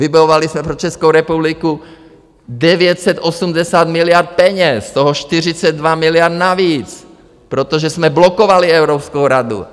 Vybojovali jsme pro Českou republiku 980 miliard peněz, z toho 42 miliard navíc, protože jsme blokovali Evropskou radu.